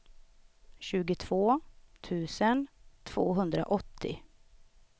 tjugotvå tusen tvåhundraåttio